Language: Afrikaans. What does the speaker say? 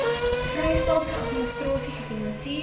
vrystaatse administrasie gefinansier